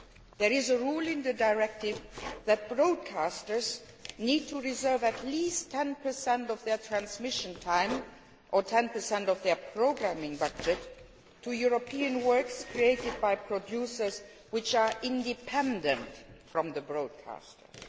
There is a rule in the directive that broadcasters need to reserve at least 10 of their transmission time or 10 of their programming budget to European works created by producers who are independent from the broadcasters.